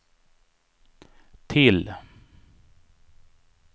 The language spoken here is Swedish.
till